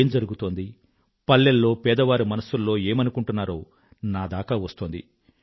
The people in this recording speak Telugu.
ఏం జరుగుతోంది పల్లెల్లో పేదవారు మనసుల్లో ఏమనుకుంటున్నారో నాదాకా వస్తోంది